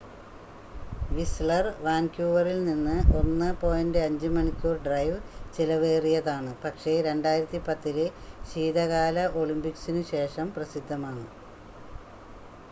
Wissler വാൻകൂവറിൽ നിന്ന് 1.5 മണിക്കൂർ ഡ്രൈവ് ചിലവേറിയതാണ് പക്ഷേ 2010-ലെ ശീതകാല ഒളിമ്പിക്‌സിനു ശേഷം പ്രസിദ്ധമാണ്